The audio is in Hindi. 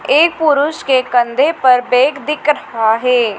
एक पुरुष के कंधे पर बैग दीक रहा है।